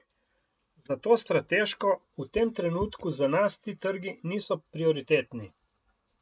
Zato strateško v tem trenutku za nas ti trgi niso prioritetni.